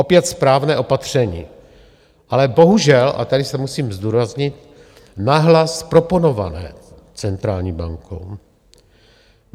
Opět správné opatření, ale bohužel, a tady to musím zdůraznit, nahlas proponované centrální bankou.